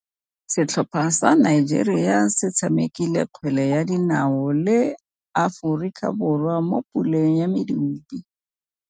Setlhopha sa Nigeria se tshamekile kgwele ya dinaô le Aforika Borwa mo puleng ya medupe.